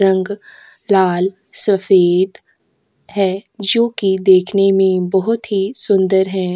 रंग लाल सफेद है जो की देखने में बहुत ही सुंदर है।